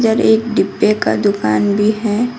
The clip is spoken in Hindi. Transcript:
एक डिब्बे का दुकान भी है।